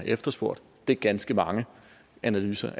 efterspurgt det er ganske mange analyser